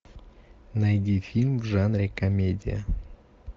найди фильм в жанре комедия